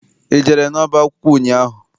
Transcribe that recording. I jere n'ọba akwụkwọ ụnyaahụ?